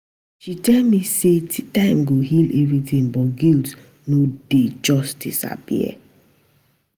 She tell me sey time go heal everytin but guilt no dey just disappear.